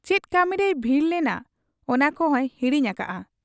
ᱪᱮᱫ ᱠᱟᱹᱢᱤᱨᱮᱭ ᱵᱷᱤᱲᱲ ᱞᱮᱱᱟ ᱚᱱᱟ ᱠᱚᱦᱚᱸᱭ ᱦᱤᱲᱤᱧ ᱟᱠᱟᱜ ᱟ ᱾